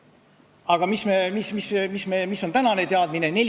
Aga mis on tänane teadmine?